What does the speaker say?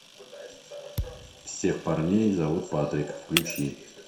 всех парней зовут патрик включи